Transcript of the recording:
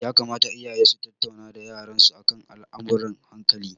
Ya kamata iyaye su tattauna da yaran su akan al'amurran hankali.